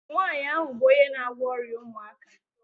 Nwaanyị ahụ bụ onye na-agwọ ọrịa ụmụaka